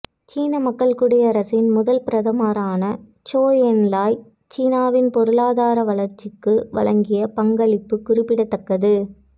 சீன மக்கள் குடியரசின் முதல் பிரதமரான சோ என்லாய் சீனாவின் பொருளாதார வளர்ச்சிக்கு வழங்கிய பங்களிப்பு குறிப்பிடத்தக்கது